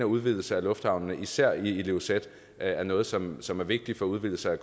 udvidelse af lufthavnene især i ilulissat er noget som som er vigtig for udvidelse af